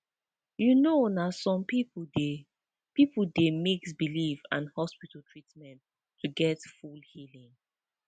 you know na some people dey people dey mix belief and hospital treatment to get full healing